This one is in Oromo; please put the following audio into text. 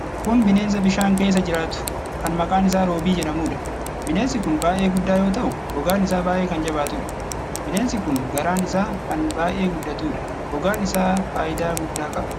Kun bineensa bishaan keessa jiraatu, kan maqaan isaa roobii jedhamuudha. Bineensi kun baay'ee guddaa yoo ta'u, gogaan isaa baay'ee kan jabaatudha. Bineensi kun garaan isaa kan baay'ee guddatuudha. Gogaan isaa faayidaa guddaa qaba.